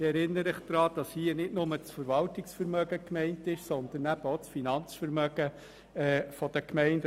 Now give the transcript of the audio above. Ich erinnere Sie daran, dass hier nicht nur das Verwaltungsvermögen gemeint ist, sondern eben auch das Finanzvermögen der Gemeinden.